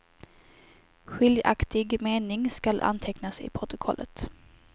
Skiljaktig mening skall antecknas i protokollet.